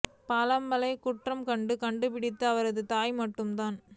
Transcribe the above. பாலம்மாளை குற்றம் கண்டு கண்டிப்பது அவரது தாய் மட்டும் தான்